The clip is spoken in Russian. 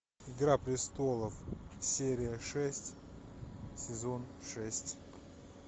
игра престолов серия шесть сезон шесть